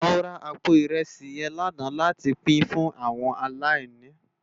Mó rá àpó irèsí yèn làná làtí pin fún áwòn àláìní